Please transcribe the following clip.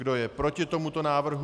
Kdo je proti tomuto návrhu?